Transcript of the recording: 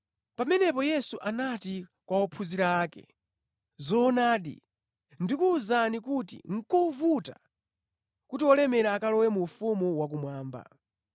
Pamenepo Yesu anati kwa ophunzira ake, “Zoonadi, ndikuwuzani kuti nʼkovuta kuti olemera akalowe mu ufumu wakumwamba.